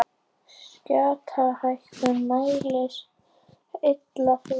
Þau gera það að verkum að sameindirnar loða saman vegna skautunar.